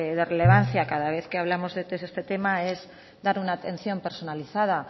de relevancia cada vez que hablamos de este tema es dar una atención personalizada